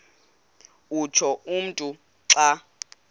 utsho umntu xa